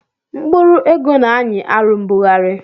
Mkpụrụ ego na-anyị arụ mbugharị